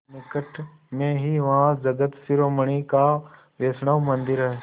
निकट में ही वहाँ जगत शिरोमणि का वैष्णव मंदिर है